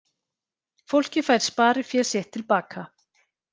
Fólkið fær sparifé sitt til baka